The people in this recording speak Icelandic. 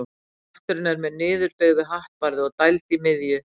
Hatturinn er með niðurbeygðu hattbarði og dæld í miðju.